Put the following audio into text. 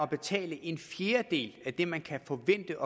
betale en fjerdedel af det man kan forvente